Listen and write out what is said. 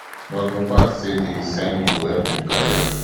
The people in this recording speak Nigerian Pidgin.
but mohbad say di signing go help im career